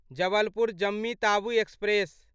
Jabalpur Jammu Tawi express